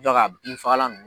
a bin fagalan nunnu.